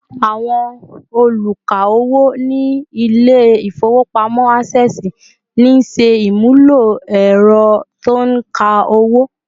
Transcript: Àwọn oluka owó ni ile ifowopamọ Access ńṣe àmúlò ęrọ tí ó nka owo